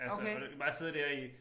Altså og bare sidde dér i